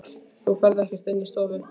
Þú ferð ekkert inn í stofu!